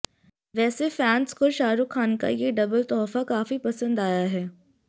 वैसे फैन्स को शाहरूख खान का ये डबल तोहफा काफी पसंद आया है